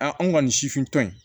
an kɔni sifintɔ in